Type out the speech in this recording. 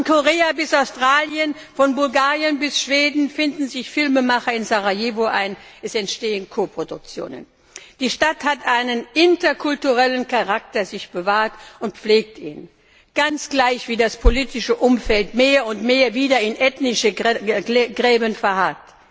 Von Korea bis Australien, von Bulgarien bis Schweden finden sich Filmemacher in Sarajevo ein, es entstehen Koproduktionen. Die Stadt hat sich einen interkulturellen Charakter bewahrt und pflegt ihn ganz gleich wie das politische Umfeld mehr und mehr wieder in ethnischen Gräben verharrt.